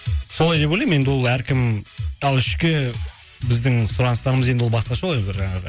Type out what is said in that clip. солай деп ойлаймын енді ол әркім ал ішкі біздің сұраныстарымыз енді ол басқаша ғой бір жаңағы